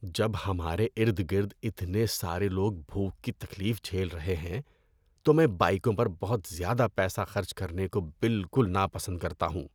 جب ہمارے ارد گرد اتنے سارے لوگ بھوک کی تکلیف جھیل رہے ہیں تو میں بائیکوں پر بہت زیادہ پیسہ خرچ کرنے کو بالکل ناپسند کرتا ہوں۔